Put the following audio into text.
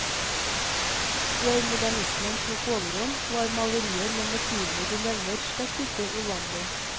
Før modernismen tok overhånd, var malerier med motivene du nevner slett ikke uvanlige.